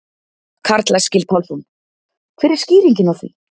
Karl Eskil Pálsson: Hver er skýringin á því?